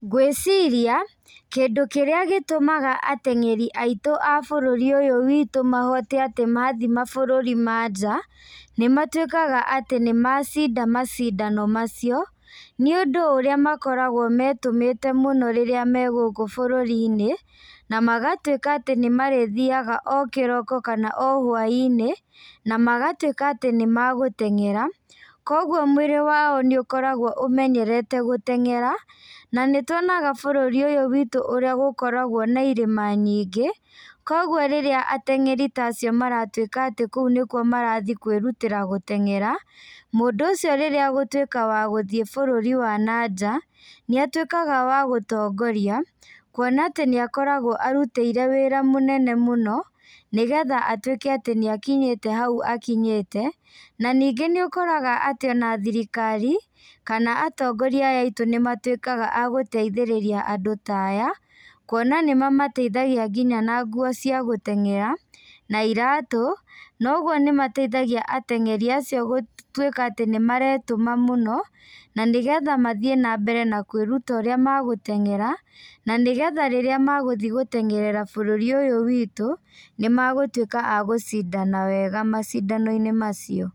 Ngwĩciria kĩndũ kĩrĩa gĩtũmaga ateng'eri aitũ a bũrũri ũyũ witũ mahote atĩ mathiĩ mabũrũri ma nja, nĩ matuĩkaga atĩ nĩ macinda macindano macio nĩũndũ ũrĩa makoragwo metũmĩte mũno rĩrĩa me gũkũ burũri-iínĩ na magatuĩka atĩ nĩ marĩthiaga o kĩroko kana o hwai-inĩ na magatuĩka atĩ nĩmagüteng'era, koguo mwĩrĩ wao nĩ ũkoragũo ũmenyerete gũteng'era. Na nĩ tuonaga bũrũri ũyũ witũ ũrĩa gũkoragwo na irĩma nyingĩ koguo riĩrĩa ateng'eri ta acio maratuĩka atĩ kũu nĩguo marathiĩ kwĩrutĩra gũteng'era mũndũ ũcio rĩrĩa agũtuĩka wa gũthiĩ bũrũri wa na nja, nĩatuĩkaga wa gũtongoria kuona nĩakoragwo arutiire wĩra mũnene mũno nĩgetha atuĩke atĩ nĩ akinyĩte hau akinyĩte, na ningĩ nĩ ũkoraga atĩ ona thirikari kana atongoria aya aitũ nĩmatuĩkaga a gũteithirĩríia andũ ta aya kuona nĩ mamateithagia nginya na nguo cia gũteng'era na iratũ. Noguo nĩ mateithagia ateng'eri acio gũtuĩka atĩ nĩ maretũma mũno na nĩgetha mathiĩ na mbere na kwĩruta ũrĩa magũteng'era, na nĩgetha rĩrĩa mathiĩ gũteng'erera bũrũri ũyũ witũ, nĩmagũtuĩka a gũcindana wega macindano-inĩ macio.